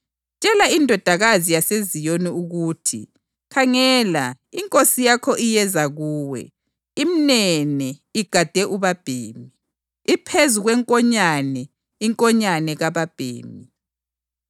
“Tshela iNdodakazi yaseZiyoni ukuthi, ‘Khangela, inkosi yakho iyeza kuwe, imnene igade ubabhemi, iphezu kwenkonyane, inkonyane kababhemi.’ + 21.5 UZakhariya 9.9”